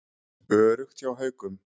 Öruggt hjá Haukum